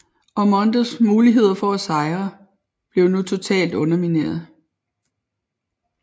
Ormondes muligheder for at sejre blev nu totalt undermineret